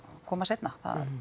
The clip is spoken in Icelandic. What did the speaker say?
koma seinna